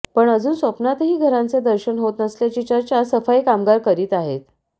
पण अजून स्वप्नातही घरांचे दर्शन होत नसल्याची चर्चा सफाई कामगार करीत आहेत